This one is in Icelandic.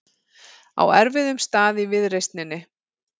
Á erfiðum stað í viðreisninni